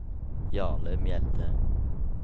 Jarle Mjelde